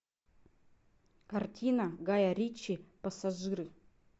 картина гая ричи пассажиры